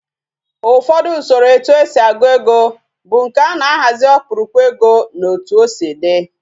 Ufodu Usoro etu esi agu ego bu nke ana ahazi okpurukpu ego na otu osi di